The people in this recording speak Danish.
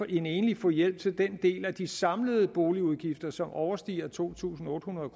en enlig få hjælp til den del af de samlede boligudgifter som overstiger to tusind otte hundrede